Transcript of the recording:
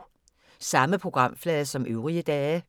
Samme programflade som øvrige dage